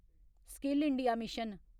skill India mission